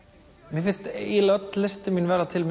mér finnst öll listin mín verða til